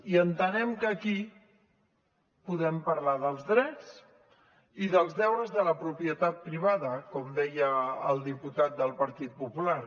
i entenem que aquí podem parlar dels drets i dels deures de la propietat privada com deia el diputat del partit popular